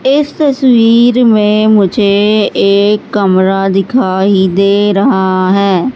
इस तस्वीर में मुझे एक कमरा दिखाई दे रहा है।